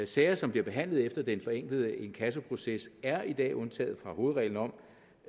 sager som bliver behandlet efter den forenklede inkassoproces er i dag undtaget fra hovedreglen om